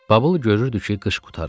Babul görürdü ki, qış qurtarır.